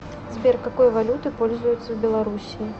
сбер какой валютой пользуются в белоруссии